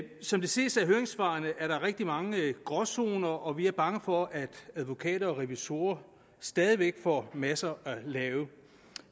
som det ses af høringssvarene er der rigtig mange gråzoner og vi er bange for at advokater og revisorer stadig væk får masser at lave